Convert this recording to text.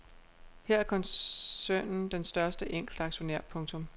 Her er koncernen den største enkeltaktionær. punktum